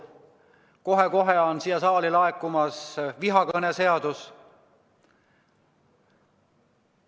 Kohe-kohe on siia saali laekumas vihakõneseadus.